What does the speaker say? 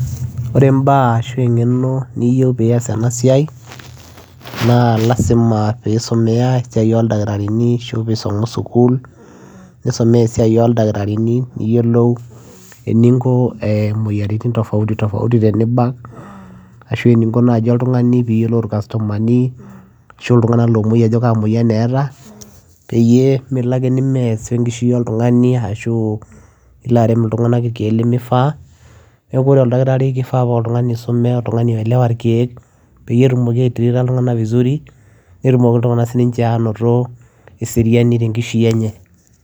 Oree imbaa ashua engeno niyieu peyiee iyas ena siai naa lazima peyiee isumea esiai oo ildakitarini peyiee eyilou ininko imoyiaritin tofauti tenibak ashua eninko peyiee iyiolou ilntunganak ajo kakwa moyiaritin eeta peyiee iyoolou atritaa ilntunganak vizuri nitumoki ilntunganak anotoo eseriani tenkishui enye